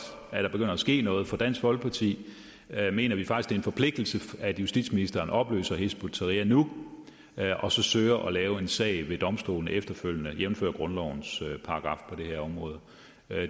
at der begynder at ske noget for i dansk folkeparti mener vi faktisk forpligtelse at justitsministeren opløser hizb ut tahrir nu og søger at lave en sag ved domstolene efterfølgende jævnfør grundlovens paragraf på det her område